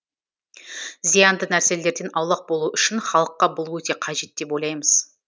зиянды нәрселерден аулақ болу үшін халыққа бұл өте қажет деп ойлаймыз